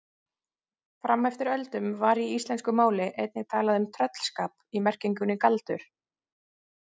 Fram eftir öldum var í íslensku máli einnig talað um tröllskap í merkingunni galdur.